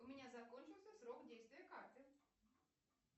у меня закончился срок действия карты